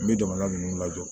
N bɛ jamana ninnu lajɔ